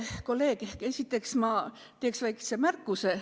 Kolleeg, kõigepealt ma teen väikese märkuse.